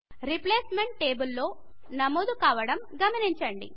replacement table లో నమోదు కావడం గమనించండి